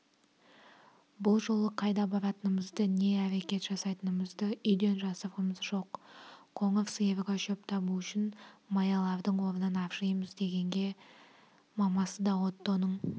бұл жолы қайда баратынымызды не әрекет жасайтынымызды үйден жасырғамыз жоқ қоңыр сиырға шөп табу үшін маялардың орнын аршимыз дегенімізге мамасы да оттоның